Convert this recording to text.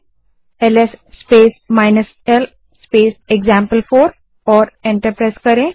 LS space l space example four command type करें और enter दबायें